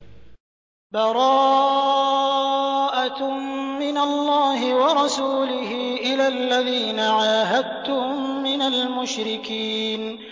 بَرَاءَةٌ مِّنَ اللَّهِ وَرَسُولِهِ إِلَى الَّذِينَ عَاهَدتُّم مِّنَ الْمُشْرِكِينَ